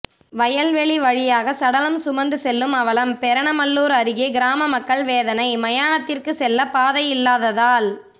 வயல்வெளி வழியாக சடலம் சுமந்து செல்லும் அவலம் பெரணமல்லூர் அருகே கிராம மக்கள் வேதனை மயானத்திற்கு செல்ல பாதை இல்லாததால்